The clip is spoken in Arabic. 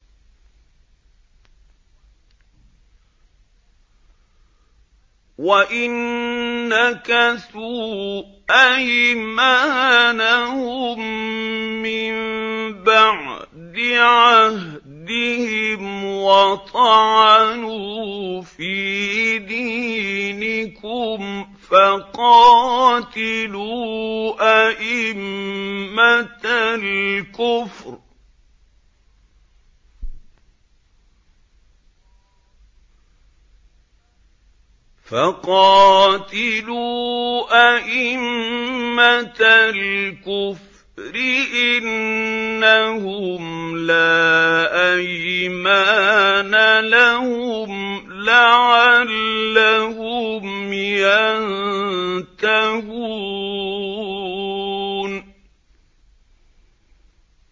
وَإِن نَّكَثُوا أَيْمَانَهُم مِّن بَعْدِ عَهْدِهِمْ وَطَعَنُوا فِي دِينِكُمْ فَقَاتِلُوا أَئِمَّةَ الْكُفْرِ ۙ إِنَّهُمْ لَا أَيْمَانَ لَهُمْ لَعَلَّهُمْ يَنتَهُونَ